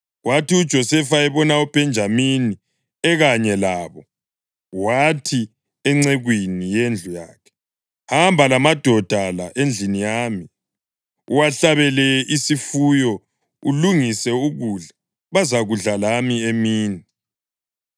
Kwathi uJosefa ebona uBhenjamini ekanye labo, wathi encekwini yendlu yakhe, “Hamba lamadoda la endlini yami, uwahlabele isifuyo ulungise ukudla; bazakudla lami emini.”